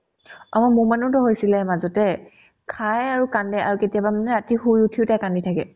অ, মোমানতো হৈছিলে মাজতে খাই আৰু কান্দে আৰু কেতিয়াবা মানে ৰাতি শুই উঠিও তাই কান্দি থাকে